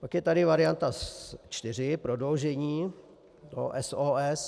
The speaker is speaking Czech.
Pak je tady varianta č. 4 - Prodloužení o SOS.